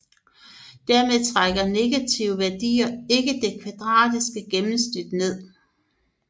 Dermed trækker negative værdier ikke det kvadratiske gennemsnittet ned